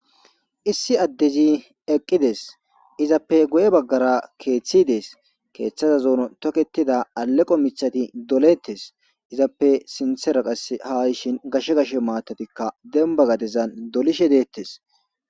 issi addezi eqqides izappe goye baggara keeththidees keeththaza zoono toketida aleqo mithati doletes izappe sinthera qas haishin gashshe gashe maatatikka demba gadezan dolishe deettes